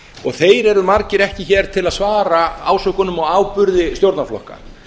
og þeir eru margir ekki hér til að svara ásökunum og áburði stjórnarflokka